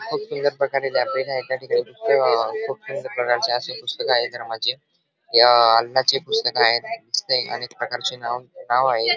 खूप सुंदर प्रकारे लायब्ररी आहे त्याठिकाणी खूप सुंदर प्रकारे अशी पुस्तक आहे रमाची या आहेत दिसतय अनेक प्रकारची नावे आहे.